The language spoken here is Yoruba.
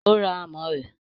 o ra amọ rẹ.